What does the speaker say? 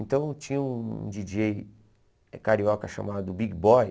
Então tinha um díi djêi carioca chamado Big Boy,